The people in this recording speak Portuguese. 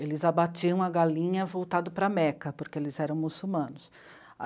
Eles abatiam a galinha voltado para a Meca, porque eles eram muçulmanos.